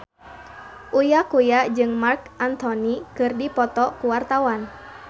Uya Kuya jeung Marc Anthony keur dipoto ku wartawan